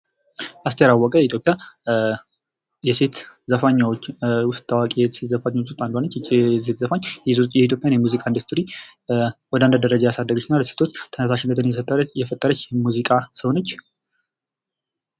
አስቴር አወቀ ከኢትዮጵያ ታዋቂ የሴት ዘፋኞች ዉስጥ አንዷ ናት። ይች ዘፋኝ የኢትዮጵያ ሙዚቃ አንድ ደረጃ ከፍ ያደረገች ናት።